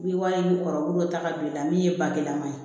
N'i ye wari in kɔrɔtaga don i la min ye bagilan man ye